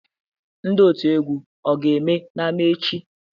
Ndị otu egwu ga-eme n'ámá echi?